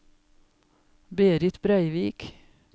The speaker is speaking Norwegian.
Berit Breivik